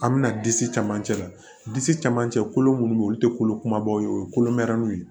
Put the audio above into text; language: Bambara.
An bɛna disi camancɛ la disi caman cɛ kolo minnu bɛ yen olu tɛ kolo kumabaw ye o ye kolomɛriw ye